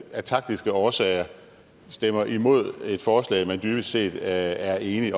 af taktiske årsager stemmer imod et forslag man dybest set er enig